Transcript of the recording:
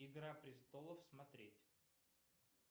игра престолов смотреть